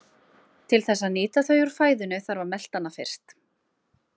Til þess að nýta þau úr fæðunni þarf að melta hana fyrst.